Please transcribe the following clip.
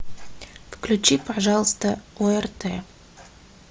включи пожалуйста орт